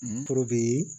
N toro bi